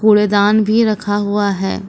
कूड़ेदान भी रखा हुआ है।